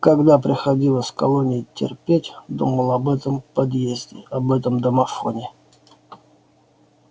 когда приходилось в колонии терпеть думал об этом подъезде об этом домофоне